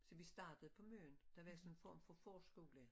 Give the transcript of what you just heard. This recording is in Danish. Så vi startede på Møn der var sådan en form for forskole